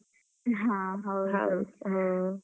ಹಾ ಹೌದು ಹಾ.